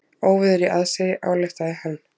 Óveður í aðsigi, ályktaði hann.